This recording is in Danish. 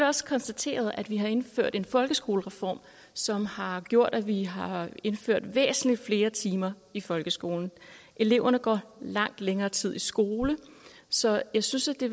også konstateret at vi har indført en folkeskolereform som har gjort at vi har indført væsentlig flere timer i folkeskolen eleverne går langt længere tid i skole så jeg synes det